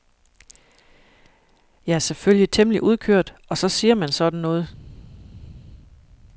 Jeg er selvfølgelig temmelig udkørt og så siger man sådan noget.